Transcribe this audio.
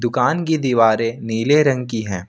दुकान की दीवारें नीले रंग की हैं।